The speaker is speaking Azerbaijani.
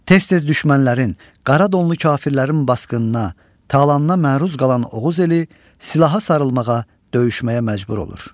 Tez-tez düşmənlərin, qara donlu kafirlərin basqınına, talanına məruz qalan Oğuz eli silaha sarılmağa, döyüşməyə məcbur olur.